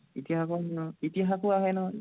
ইতিহাসও আহে নহয়, ইতিহাসও আহে নহয়